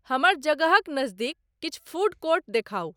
हमर जगह क नज़दीक किछ फ़ूड कोर्ट देखाऊ